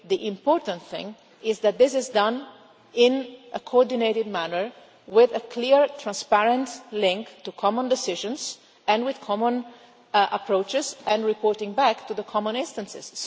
The important thing is that this is done in a coordinated manner with a clear, transparent link to common decisions and with common approaches and reporting back to the common instances.